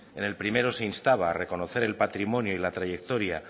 en el primero se instaba a reconocer el patrimonio y la trayectoria